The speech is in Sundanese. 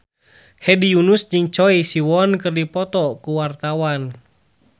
Hedi Yunus jeung Choi Siwon keur dipoto ku wartawan